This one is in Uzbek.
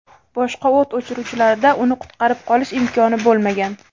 Boshqa o‘t o‘chiruvchilarda uni qutqarib qolish imkoni bo‘lmagan.